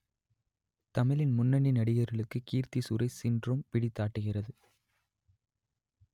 தமிழின் முன்னணி நடிகர்களுக்கு கீர்த்தி சுரேஷ் சின்ட்ரோம் பிடித்தாட்டுகிறது